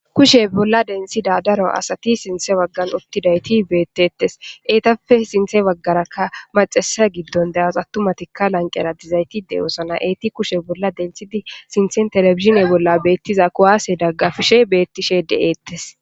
Kushe bolla denthafibsinthe bagani utida cora asati betetesi, etappe sinthe bagaraka macasheyi gidon de'awus, atumatika lanqera dizayt de'osona, etika kushe bolla denthidi sintheni televisione bolla betiza kuwase dagafishe beetishe de'etesi.